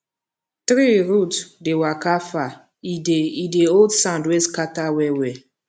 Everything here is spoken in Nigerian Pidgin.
tree root dey waka far e dey e dey hold sand wey scatter well well